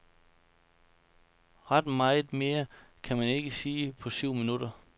Ret meget mere kan man ikke sige på syv minutter.